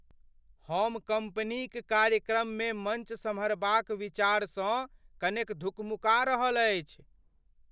हम कंपनीक कार्यक्रममे मंच सम्हारबाक विचारसँ कनेक धुकमुका रहल अछि।